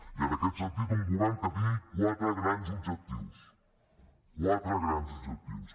i en aquest sentit un govern que tingui quatre grans objectius quatre grans objectius